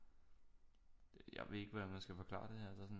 Jeg ved ikke hvordan man skal forklare det her så sådan